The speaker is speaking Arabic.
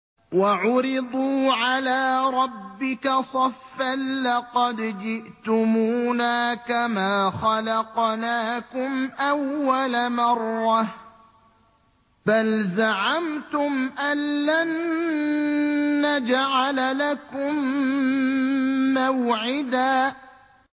وَعُرِضُوا عَلَىٰ رَبِّكَ صَفًّا لَّقَدْ جِئْتُمُونَا كَمَا خَلَقْنَاكُمْ أَوَّلَ مَرَّةٍ ۚ بَلْ زَعَمْتُمْ أَلَّن نَّجْعَلَ لَكُم مَّوْعِدًا